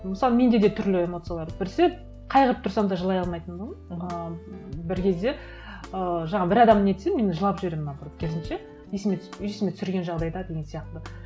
мысалы менде де түрлі эмоциялар біресе қайғырып тұрсам да жылай алмайтындығым ыыы бір кезде ыыы жаңа бір адам нетсе мен жылап жіберемін наоборот керісінше есіме түсіп есіме түсірген жағдайда деген сияқты